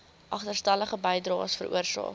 agterstallige bydraes veroorsaak